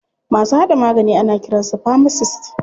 Masu haɗa magani ana kiran su famasist.